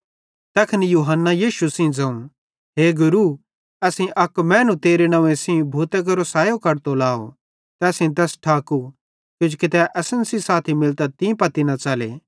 तैखन यूहन्ना यीशु सेइं ज़ोवं ए गुरू असेईं अक मैनू तेरे नंव्वे सेइं भूतां केरो सैयो कढतो लाव ते असेईं तैस ठाकू किजोकि तै असन सेइं साथी मिलतां तीं पत्ती न च़ले